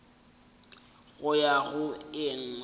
go ya go e nngwe